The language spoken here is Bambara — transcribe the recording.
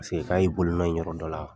Paseke k'a y'i bolonɔ ye yɔrɔ dɔ la.